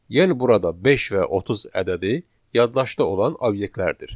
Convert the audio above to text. Yəni burada 5 və 30 ədədi yaddaşda olan obyektlərdir.